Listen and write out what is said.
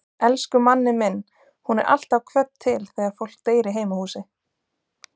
Elsku Manni minn, hún er alltaf kvödd til þegar fólk deyr í heimahúsi.